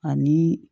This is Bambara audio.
Ani